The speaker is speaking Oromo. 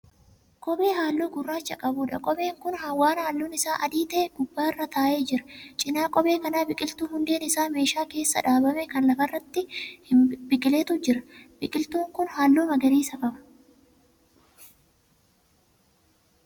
Kophee halluu gurraacha qabudha. kopheen Kuni waan halluun Isaa adii ta'e gubbaarra taa'ee jira. cinaa kophee kanaa biqiltuu hundeen Isaa meeshaa keessa dhaabame Kan lafarraatte hin biqilletu jira. biqiltuun kin halluu magariisa qaba.